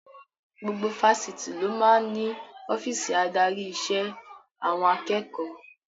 Gbogbo Fáṣítì ló máa ń ní ọ́fíìsì adarí ìṣe àwọn akẹ́kọ̀ọ́